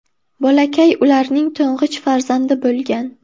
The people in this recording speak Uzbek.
Bolakay ularning to‘ng‘ich farzandi bo‘lgan.